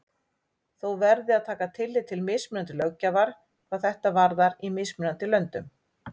Þó verði að taka tillit til mismunandi löggjafar hvað þetta varðar í mismunandi löndum.